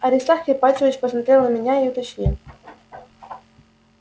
аристарх ипатьевич посмотрел на меня и уточнил